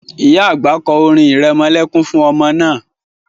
Ìyá àgbà kọ́ orin irẹmọlẹ́kún fún ọmọ náà